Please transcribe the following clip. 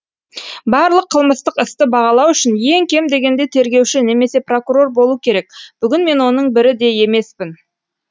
барлық қылмыстық істі бағалау үшін ең кем дегенде тергеуші немесе прокурор болу керек бүгін мен оның бірі де емеспін